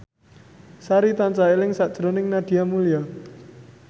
Sari tansah eling sakjroning Nadia Mulya